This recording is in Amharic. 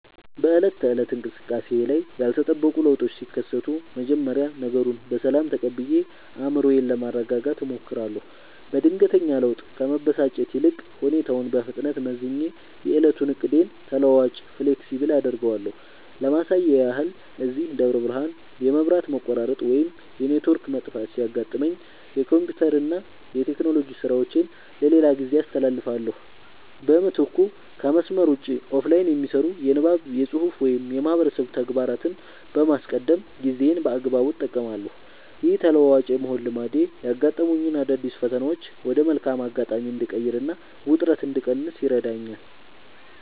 በዕለት ተዕለት እንቅስቃሴዬ ላይ ያልተጠበቁ ለውጦች ሲከሰቱ፣ መጀመሪያ ነገሩን በሰላም ተቀብዬ አእምሮዬን ለማረጋጋት እሞክራለሁ። በድንገተኛ ለውጥ ከመበሳጨት ይልቅ፣ ሁኔታውን በፍጥነት መዝኜ የዕለቱን ዕቅዴን ተለዋዋጭ (Flexible) አደርገዋለሁ። ለማሳያ ያህል፣ እዚህ ደብረ ብርሃን የመብራት መቆራረጥ ወይም የኔትወርክ መጥፋት ሲያጋጥመኝ፣ የኮምፒውተርና የቴክኖሎጂ ሥራዎቼን ለሌላ ጊዜ አስተላልፋለሁ። በምትኩ ከመስመር ውጭ (Offline) የሚሰሩ የንባብ፣ የፅሁፍ ወይም የማህበረሰብ ተግባራትን በማስቀደም ጊዜዬን በአግባቡ እጠቀማለሁ። ይህ ተለዋዋጭ የመሆን ልማዴ ያጋጠሙኝን አዳዲስ ፈተናዎች ወደ መልካም አጋጣሚ እንድቀይርና ውጥረት እንድቀንስ ይረዳኛል።